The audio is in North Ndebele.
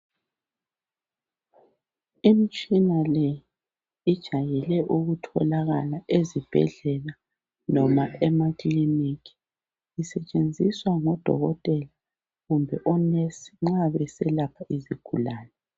Umtshina lo ujayele ukutholakala ezibhedlela noma emakilinika. Osetshenziswa ngodokotela kumbe amanesi nxa beseĺapha izigulane.